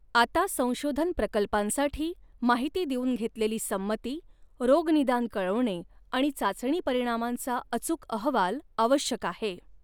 आता संशोधन प्रकल्पांसाठी माहिती देऊन घेतलेली संमती, रोगनिदान कळवणे आणि चाचणी परिणामांचा अचूक अहवाल आवश्यक आहे.